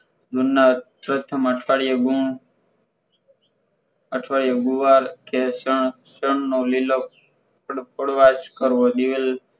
ગુણના પ્રથમ અવકરિયા ગુણ આઠવારિયો ગુવાર કે સળ સળ નો લીલો કરવો દિવેલ